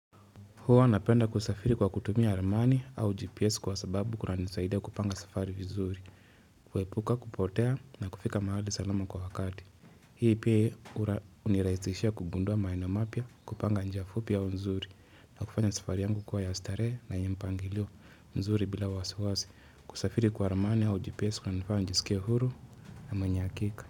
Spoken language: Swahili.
Huwa napenda kusafiri kwa kutumia ramani au GPS kwa sababu kunanisaida kupanga safari vizuri. Kuhepuka, kupotea na kufika mahali salama kwa wakati. Hii pia uniraizishia kugundua maeneo mapya kupanga njia fupi au nzuri. Na kufanya safari yangu kuwa yasl starehe na yenye mpangilio nzuri bila wasiwasi. Kusafiri kwa ramani au GPS kunanifanya njisikie huru na mweny hakika.